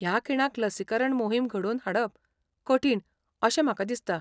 ह्या खिणाक लसीकरण मोहीम घडोवन हाडप कठीण अशें म्हाका दिसता.